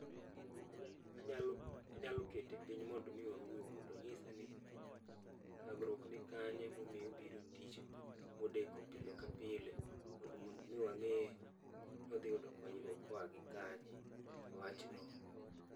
Anya anyalo anyalo kete piny mondo mii wawuo mondo onyisa ni thagrwuok ni kanye momio biro tich modeko pile ka pile, mond mondo mi wang'e ni wadhi yudo konyrwuok gi kanye ewi wachno.